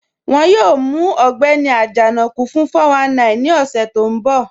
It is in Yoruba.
Wọ́n yóò mù Ọgbẹ́ni Ajanaku fún 419 ni ọṣẹ̀ tó nbọ̀.